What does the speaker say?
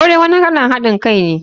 Sure wani kalan hadin Kai ne.